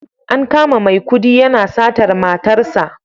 An kama Maikudi yana satar matarsa